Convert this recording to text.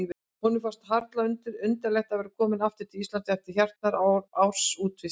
Honum fannst harla undarlegt að vera kominn aftur til Íslands eftir hartnær árs útivist.